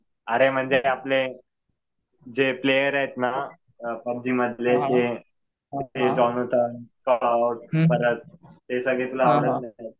अरे म्हणजे जे आपले प्लेयर आहेत ना पबजी मधले ते परत ते सगळे तुला आवडत नाही का?